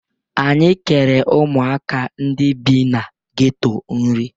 Anyị kere ụmụaka ndị bi na geto nri.